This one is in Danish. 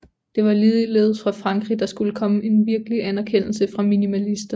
Det var ligeledes fra Frankrig der skulle komme en virkelig anerkendelse af minimalisterne